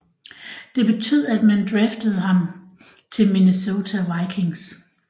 Det betød at man draftede ham til Minesota Vikings